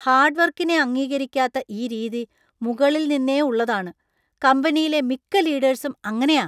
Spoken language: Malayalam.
ഹാർഡ് വർക്കിനെ അംഗീകരിക്കാത്ത ഈ രീതി മുകളിൽ നിന്നെ ഉള്ളതാണ്, കമ്പനിയിലെ മിക്ക ലീഡേഴ്‌സും അങ്ങനെയാ.